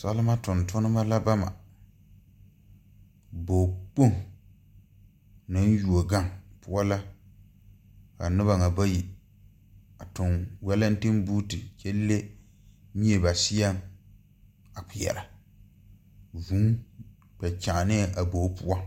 Salima tontonnema la bama bogi kpoŋ meŋ yuo gaŋ poɔ la ka nobɔ ŋa bayi a tuŋ walentiŋboote kyɛ le mie ba seɛŋ a kpeɛrɛ vūū koɔ kyaanɛɛ a bogi poɔ.